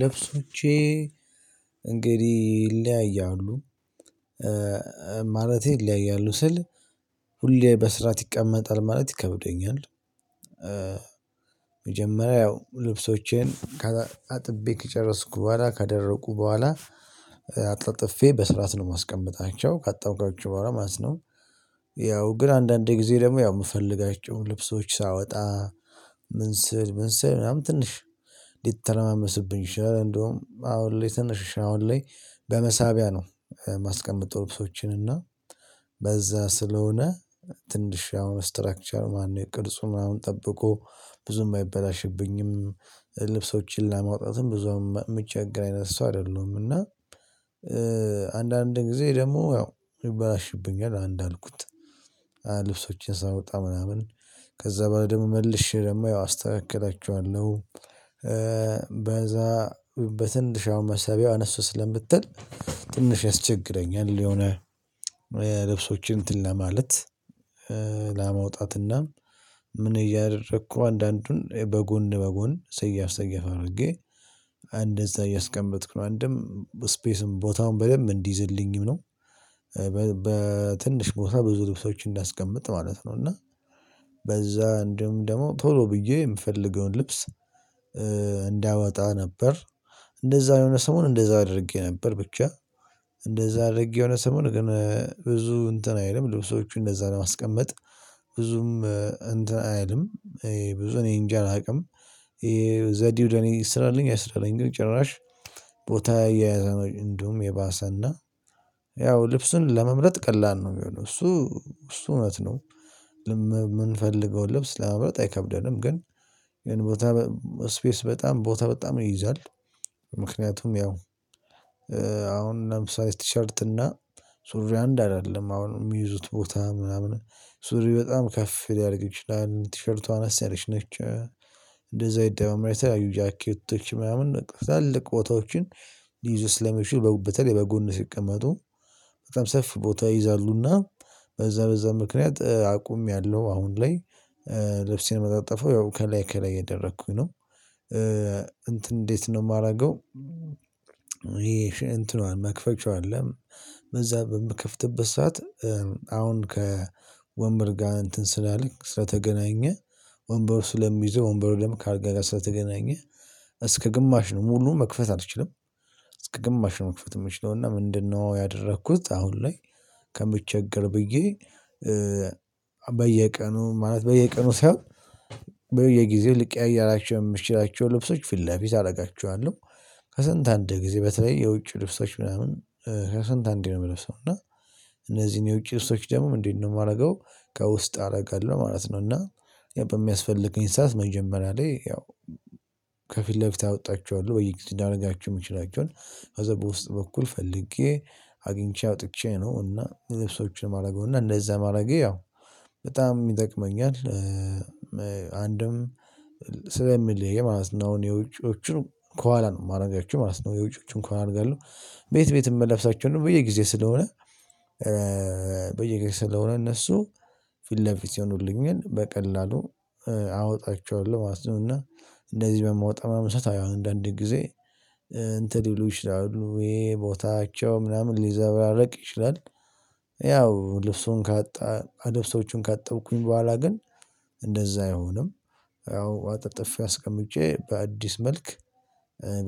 ልብሶቼ እንግዲህ ይለያያሉ ማለቴ ይለያያሉ ስል ሁሌ በስራዓት ይቀመጣል ማለት ይከብደኛል። መጀመሪያ ያው ልብሶቼን ከአጥቤ ከጨረስኩ በኋላ ካደረጉ በኋላ አንጠፍጥፌ በስርዓት ነው የማስቀምጣቸው ካጠብኳቸው በኋላ ማለት ነው። ያው ግን አንዳንድ ጊዜ ደግሞ ያው የምፈልጋቸው ልብሶች ሳወጣ ምን ስል ምን ስል ምናምን ትንሽ ሊተረማመስብኝ ይችላል እንደውም አሁን ላይ ትንሽ አሁን ላይ በመሳቢያ ነው ማስቀመጠው ልብሶችን እና በዛ ስለሆነ ትንሽ ያው ስትራክቸር ማነው ቅርጹን ምናምን ጠብቆ ብዙም አይበላሽብኝም። ልብሶችን ለማውጣትም ብዙም የምቸገር አይነት ሰው አይደለሁም። እና አንዳንድ ጊዜ ደግሞ ያው ይበላሽብኛል እንዳልኩት ልብሶችን ሳወጣ ምናምን ከዛ በኋላ ደግሞ መልሼ ደግሞ ያው አስተካክላችኋለሁ። በዛ በትንሽ አሁን መሳብያ አነስ ስለምትል ትንሽ ያስቸግረኛል የሆነ ልብሶችን እንትን ለማለት ለመውጣትና ምን እያደረኩ አንዳንዱን በጎን በጎን ሰያፍ ሰያፍ አድርጌ እንደዛ እያስቀመጥኩ ነው አንድም ስፔስም ቦታም በደንብ እንዲይዝልኝም ነው። በትንሽ ቦታ ብዙ ልብሶችን እንዳስቀምጥ ማለት ነው። እና በዛ እንደውም ደግሞ ቶሎ ብዬ የምፈልገውን ልብስ እንዳወጣ ነበር። እንደዛ የሆነ ሰሞን እንደዛ አድርጌ ነበር ብቻ እንደዛ አድርጌ የሆነ ሰሞን ግን ብዙ እንትን አይልም ልብሶቹን እንደዛ ለማስቀመጥ ብዙም እንትን አይልም። ብዙ እኔ እንጃ አላውቅም። ዘዴው ለኔ ይስራልኝ አይስራልኝ ግን ጭራሽ ቦታ እየያዘ እንዲሁም የባሰና ያው ልብሱን ለመምረጥ ቀላል ነው የሚሆነው። እሱ እሱ እውነት ነው። የምንፈልገውን ልብስ ለመምረጥ አይከብደንም ግን የሆነ ቦታ ስፔስ በጣም ቦታ በጣም ይይዛል። ምክንያቱም ያው አሁን ለምሳሌ ቲሸርት እና ሱሪ አንድ አይደለም አሁን የሚይዙት ቦታ ምናምን ሱሪ በጣም ከፍ ሊያደርግ ይችላል። ቲሸርቷ አነስ ያለች ነች። እንደዛ ይደማመራል የተለያዩ ጃኬቶች ምናምን ትላልቅ ቦታዎችን ሊይዙ ስለሚችሉ በተለይ በጎን ሲቀመጡ በጣም ሰፊ ቦታ ይይዛሉና በዛ በዛ ምክንያት አቁሚያለሁ አሁን ላይ። ልብሴን ማጣጥፈው ያው ከላይ ከላይ እያደረኩኝ ነው እንትን እንዴት ነው የማደርገው? ይሄ እንትኗን መክፈቻው አለ በዛ በምከፍትበት ሰዓት አሁን ከወንበር ጋር እንትን ስላልክ ስለተገናኘ ወንበር ስለሚይዘው ወንበሩ ደግሞ ከአልጋ ጋር ስለተገናኘ እስከ ግማሽ ነው ሙሉ መክፈት አልችልም። እስከ ግማሽ ነው መክፈት የምችለው። እና ምንድነው ያደረኩት? አሁን ላይ ከምቸገር ብዬ በየቀኑ ማለት በየቀኑ ሳይሆን በየጊዜው ልቀያይራቸው የምችላቸው ልብሶች ፊት ለፊት አደርጋቸዋለሁ። ከስንት አንድ ጊዜ በተለይ የውጭ ልብሶች ምናምን ከስንት አንዴ ነው የምለብሰው። እና እነዚህን የውጭ ልብች ደግሞ እንዴት ነው የማደርገው? ከውስጥ አደርጋለሁ ማለት ነው። እና በሚያስፈልገኝ ሰዓት መጀመሪያ ላይ ያው ከፊት ለፊት አወጣቸዋለሁ በየጊዜው ላረጋቸው የምችላቸውን ከዛ በውስጥ በኩል ፈልጌ አግኝቼ አውጥቼ ነው እና ልብሶችን ማረገው እና እንደዛ ማረጌ ያው በጣም ይጠቅመኛል። አንድም ስለሚለይ ማለት ነው። አሁን የውጪዎቹ ከኋላ ነው የማደርጋችሁ ማለት ነው። የውጪዎቹን ከኋላ አረጋለሁ ቤት ቤት የምለብሳቸ በየጊዜ ስለሆነ። በየጊዜ ስለሆነ እነሱ ፊት ለፊት ይሆኑልኛል በቀላሉ አወጣቸዋለሁ ማለት ነው። እና እንደዚህ በማወጣው ሰዓት ያው አሁን አንዳንዴ ጊዜ እንትን ሊሉ ይችላሉ ይሄ ቦታቸው ምናምን ሊዘበራረቅ ይችላል። ያው ልብሱን ካጣ ልብሶቹን ካጠብኩኝ በኋላ ግን እንደዛ አይሆንም። ያው አጣጥፌ አስቀምጬ በአዲስ መልክ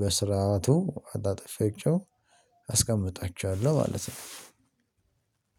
በስርዓቱ አጣጥፌያቸው አስቀምጣቸዋለሁ ማለት ነው።